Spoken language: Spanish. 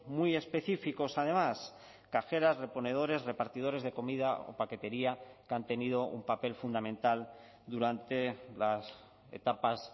muy específicos además cajeras reponedores repartidores de comida o paquetería que han tenido un papel fundamental durante las etapas